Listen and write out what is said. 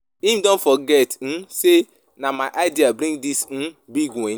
Him don forget um sey na my idea bring dis um big win.